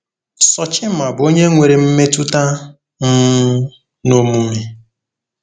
Sochimma bụ onye nwere mmetụta um na omume